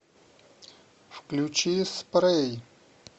включи спрэй